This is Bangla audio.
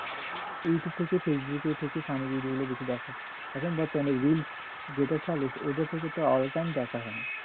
ইউটিউব থেকে ফেসবুকে এর বেশি funny video দেখা, এখন তো অনেক reels ওটা থেকে তো all time দেখা হয়।